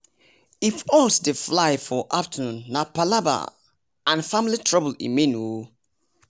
if owls dey fly for afternoon nah palava an family trouble e mean